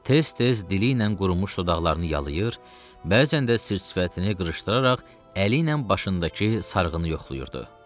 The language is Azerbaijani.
Tez-tez dili ilə qurumuş dodaqlarını yalayır, bəzən də sir-sifətini qırışdıraraq əli ilə başındakı sarğını yoxlayırdı.